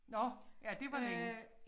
Nåh ja det var længe